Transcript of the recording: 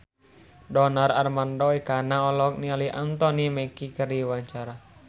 Donar Armando Ekana olohok ningali Anthony Mackie keur diwawancara